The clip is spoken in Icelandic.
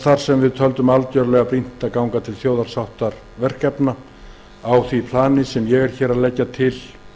þar sem við töldum algjörlega brýnt að ganga til þjóðarsáttarverkefna á því plani sem ég legg hér til